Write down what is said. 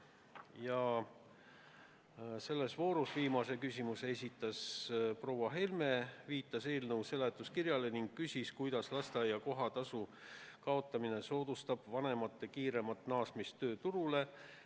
Ja selles voorus viimase küsimuse esitas proua Helme, kes viitas eelnõu seletuskirjale ning küsis, kuidas lasteaia kohatasu kaotamine soodustab vanemate kiiremat naasmist tööturule.